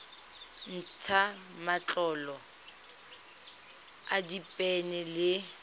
ntsha matlolo a diphenene le